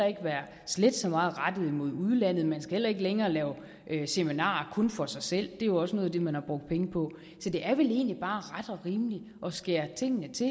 ikke være slet så meget rettet mod udlandet og man skal heller ikke længere lave seminarer kun for sig selv er jo også noget af det man har brugt penge på så det er vel egentlig bare ret og rimeligt at skære tingene til